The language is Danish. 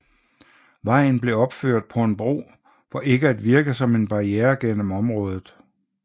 Vejen blev opført på en bro for ikke at virke som en barriere gennem området